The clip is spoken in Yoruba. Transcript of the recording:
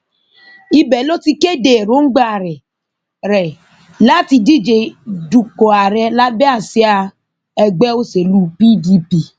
ibẹ ló ti kéde èròǹgbà rẹ rẹ láti díje dupò ààrẹ lábẹ àsíá ẹgbẹ òṣèlú pdp